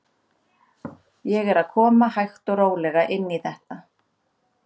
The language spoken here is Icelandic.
Ég er að koma hægt og rólega inn í þetta.